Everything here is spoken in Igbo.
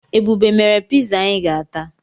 Ebube mere piza anyi ga-ata